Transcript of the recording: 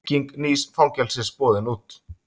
Bygging nýs fangelsis boðin út